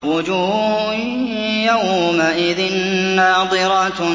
وُجُوهٌ يَوْمَئِذٍ نَّاضِرَةٌ